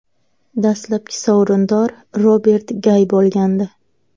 Dastlabki sovrindor Robert Gay bo‘lgandi.